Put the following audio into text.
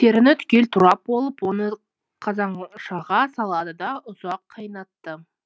теріні түгел турап болып оны қазаншаға салады да ұзақ қайнатты